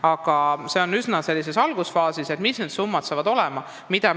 Aga see arutelu, millised need summad saavad olema, on praegu algusfaasis.